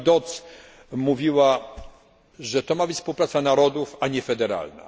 Pani Dodds mówiła, że ma to być współpraca narodów, a nie federalna.